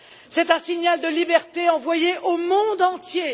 C'est un signal de liberté envoyé au monde entier.